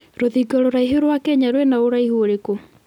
rũthingo rũraihu rwa Kenya rwĩna ũraihu ũrikũ